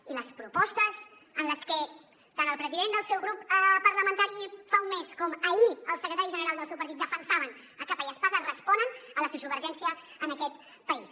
i les propostes en les que tant el president del seu grup parlamentari fa un mes com ahir el secretari general del seu partit defensaven a capa i espasa responen a la sociovergència en aquest país